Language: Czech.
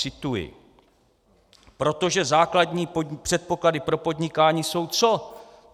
Cituji: Protože základní předpoklady pro podnikání jsou co?